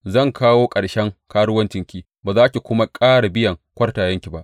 Zan kawo ƙarshen karuwancinki, ba za ki kuma ƙara biyan kwartayenki ba.